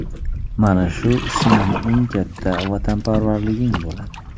Mana shu sening eng katta vatanparvarliging bo‘ladi.